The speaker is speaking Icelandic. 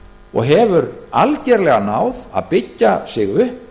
og hefur algjörlega náð að byggja sig upp